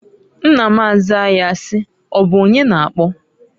Nna m azaa ya si: "Ọbụ onye na-akpọ?".